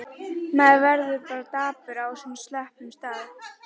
Maður verður bara dapur á svona slöppum stað.